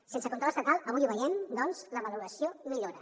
sense control estatal avui ho veiem doncs la valoració millora